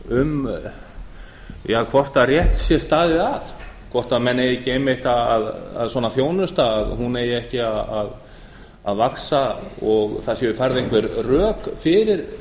um hvort rétt sé staðið að hvort svona þjónusta eigi ekki að vaxa og það séu færð einhver rök fyrir